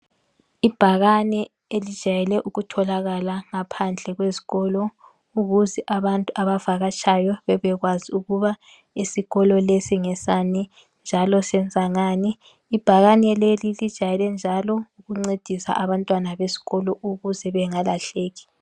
Ibhakani elijayele ukutholakala ngaphandle kwezikolo, ukuze abantu abavakatshayo bebekwazi ukuba isikolo lesi ngesani njalo senza ngani, ibhakane leli lijayele njalo ukuncedisa abantwana besikolo ukuze bengalahlaki.